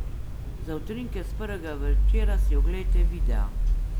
Za utrinke s prvega večera si oglejte videa!